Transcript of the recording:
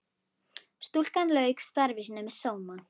Stúlkan lauk starfi sínu með sóma.